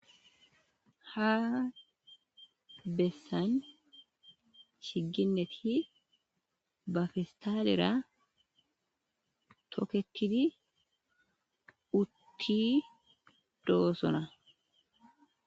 Ha bessan chigineti ba pistaalera toketidi utti doosona